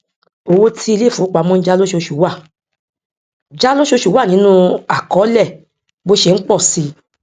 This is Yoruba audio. owó tí ilé ìfowópamọ n já lóṣooṣù wà já lóṣooṣù wà nínú akọólẹ bó ṣe n pọ si